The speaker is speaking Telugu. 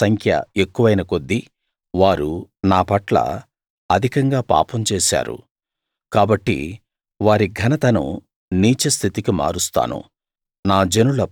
యాజకుల సంఖ్య ఎక్కువైన కొద్దీ వారు నా పట్ల అధికంగా పాపం చేశారు కాబట్టి వారి ఘనతను నీచస్థితికి మారుస్తాను